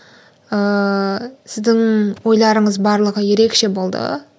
ыыы сіздің ойларыңыз барлығы ерекше болды